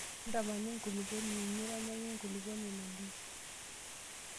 Ntamana enkulupuoni nironyaki enkulupuoni ina dish.